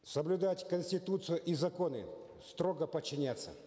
соблюдать конституцию и законы строго подчиняться